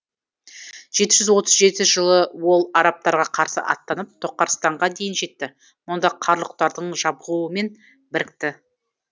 жеті жүз отыз жетінші жылы ол арабтарға қарсы аттанып тоқарстанға дейін жетті мұнда қарлұқтардың жабғуымен бірікті